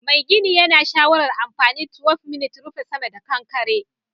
Mai gini yana shawarar anfani 12mm rufe sama da kankare